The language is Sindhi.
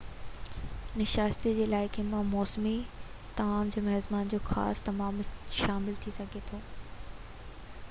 ناشتي ۾ علائقي جا موسمي طعام يا ميزبان جو خاص طعام شامل ٿي سگھي ٿي